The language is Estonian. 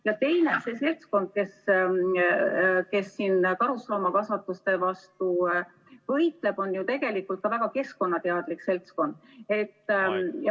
Ja teiseks, see seltskond, kes karusloomakasvatuste vastu võitleb, on ju tegelikult ka väga keskkonnateadlik seltskond.